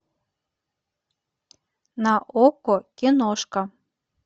на окко киношка